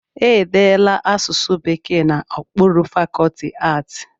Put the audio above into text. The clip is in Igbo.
E deela asụsụ Bekee n'okpuru fakọlti aatị